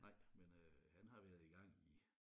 Nej men øh han har været i gang i